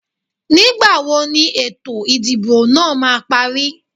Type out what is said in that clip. Nígbà wo ni ètò ìdìbò náà máa parí?